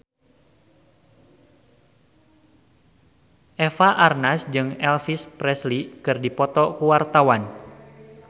Eva Arnaz jeung Elvis Presley keur dipoto ku wartawan